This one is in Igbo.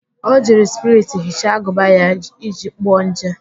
O jiri spiriti hichaa agụba ya iji gbuo nje